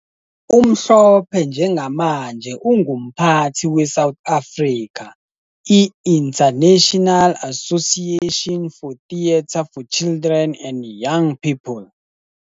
UMhlophe njengamanje ungumphathi we-South Africa, i-International Association for Theatre for Children and Young People.